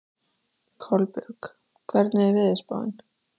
Kolbjörg, hvernig er veðurspáin?